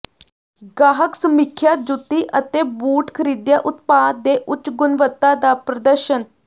ਗਾਹਕ ਸਮੀਖਿਆ ਜੁੱਤੀ ਅਤੇ ਬੂਟ ਖਰੀਦਿਆ ਉਤਪਾਦ ਦੇ ਉੱਚ ਗੁਣਵੱਤਾ ਦਾ ਪ੍ਰਦਰਸ਼ਨ